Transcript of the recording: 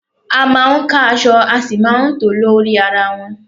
A máa ń ka aṣọ a sì máa tòó lórí ara wọn.